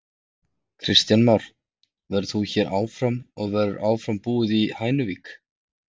Kristján Már: Verður þú hér áfram og verður áfram búið í Hænuvík?